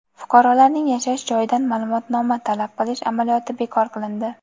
Fuqarolarning yashash joyidan ma’lumotnoma talab qilish amaliyoti bekor qilindi.